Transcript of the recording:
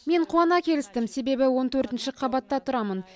мен қуана келістім себебі он төртінші қабатта тұрамын